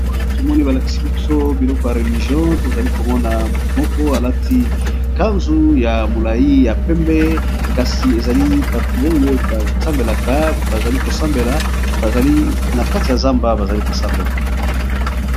a tomoni balakisi biso biloko ya religio tozali komona motu moko alati kanzu ya molai ya pembe kasi ezali batu oyo basambelaka bazali kosambela ana kati ya zamba bazali kosambela